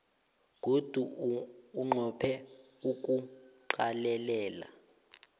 godu unqophe nokuqalelela